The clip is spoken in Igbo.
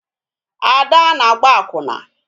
Ada na-agba akwụna